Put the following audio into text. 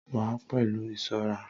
wa a pelu isorà